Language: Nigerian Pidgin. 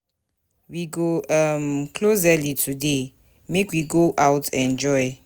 We go um close early today .make we go out enjoy